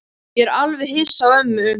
Ég er alveg hissa á ömmu.